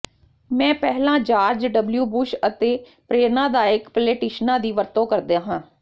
ਮੈਂ ਪਹਿਲਾਂ George W Bush ਅਤੇ ਪ੍ਰੇਰਨਾਦਾਇਕ ਪਲੇਟਿਸ਼ਨਾਂ ਦੀ ਵਰਤੋਂ ਕਰਦਾ ਹਾਂ